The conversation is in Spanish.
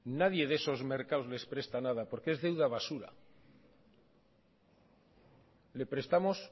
nadie de esos mercados les presta nada porque es deuda basura le prestamos